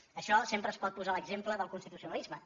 d’això sempre es pot posar l’exemple del constitucionalisme